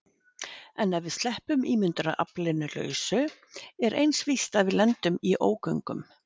En ef við sleppum ímyndunaraflinu lausu er eins víst að við lendum í ógöngum.